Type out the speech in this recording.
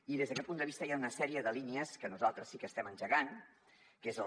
i des d’aquest punt de vista hi han una sèrie de línies que nosaltres sí que estem engegant que són